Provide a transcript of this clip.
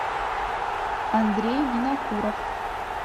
андрей винокуров